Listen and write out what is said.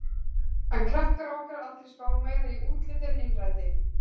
En krakkar á okkar aldri spá meira í útlit en innræti.